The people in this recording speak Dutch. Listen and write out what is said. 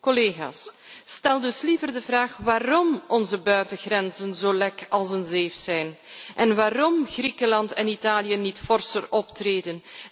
Collega's, stel dus liever de vraag waarom onze buitengrenzen zo lek als een zeef zijn en waarom Griekenland en Italië niet forser optreden.